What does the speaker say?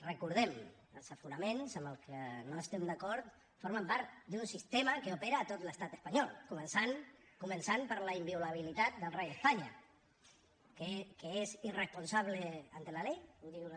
recordem els aforaments amb els que no estem d’acord formen part d’un sistema que opera a tot l’estat espanyol començant començant per la inviolabilitat del rei d’espanya que és irresponsable ante la ley ho diu la